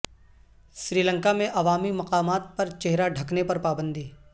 سری لنکامیں عوامی مقامات پر چہرہ ڈھکنے پر پابندی